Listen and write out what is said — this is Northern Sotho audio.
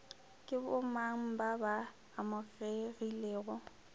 ke bomang ba ba amegilego